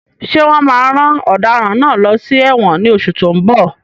Ṣé wọn máa rán ọ̀daràn náà lọ sí ẹ̀wọ̀n ní oṣù tó ń bọ̀?